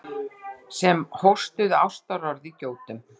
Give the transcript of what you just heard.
Sem hóstuðu ástarorð í gjótum.